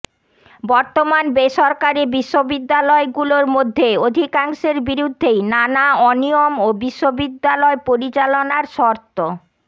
বর্তমান বেসরকারি বিশ্ববিদ্যালয়গুলোর মধ্যে অধিকাংশের বিরুদ্ধেই নানা অনিয়ম ও বিশ্ববিদ্যালয় পরিচালনার শর্ত